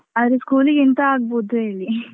ಅದು school ಗಿಂತ ಆಗ್ಬೋದು ಹೇಳಿ .